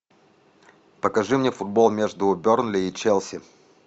покажи мне футбол между бернли и челси